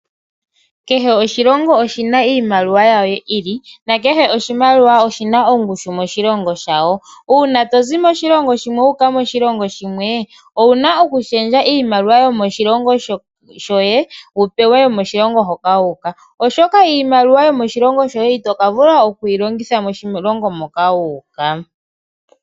Kehe oshilongo oshina iimaliwa ya sho yi ili ,na kehe oshimaliwa oshina ongushu yomoshilongo shawo. Uuna to zi moshilongo shimwe wuuka koshilongo shimwe owuna oku shendja iimaliwa yomoshilongo shoye, wu pewe yomoshilongo hoka wuuka oshoka iimaliwa yomoshilongo shoye ito ka vula oku yi longitha moshilongo moka wuuka.